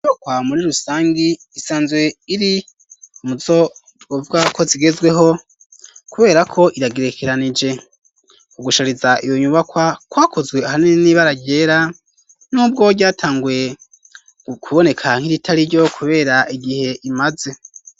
Muri rusangi isanzwe iri umuzo twovuga ko zigezweho kubera ko iragerekeranije ugushariza iyo nyubakwa kwakozwe ahanini n'ibara ryera nubwo vyatanguye ku boneka nk'iritari ryo kubera igihe imaze.